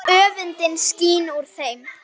Öfundin skín úr þeim.